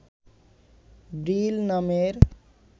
ভ্রিল নামের